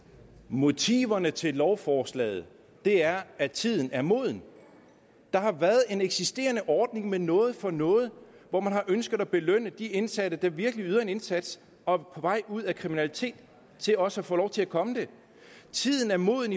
motiverne til lovforslaget er at tiden er moden der har været en eksisterende ordning med noget for noget hvor man har ønsket at belønne de indsatte der virkelig yder en indsats og er på vej ud af kriminalitet så de også kan få lov til at komme det tiden er moden